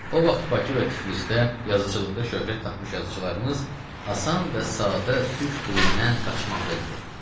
O vaxt Bakı və Tiflisdə yazıçılıqda şöhrət tapmış yazıçılarımız asan və sadə türk dilindən qaçmaqda idi.